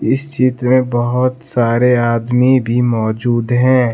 इस चित्र में बहुत सारे आदमी भी मौजूद है।